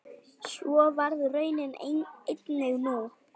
Svo varð raunin einnig nú.